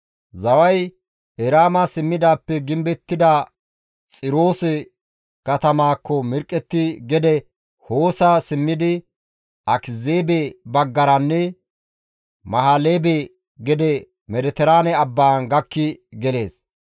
Zaway Eraama simmidaappe gimbettida Xiroose katamaakko mirqqetti gede Hoosa simmidi Akiziibe baggaranne Mahileebe gede Mediteraane abbaan gakki gelees.